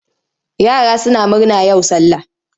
Yara suna murna yau sallah.